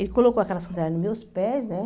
Ele colocou aquela sandália nos meus pés, né?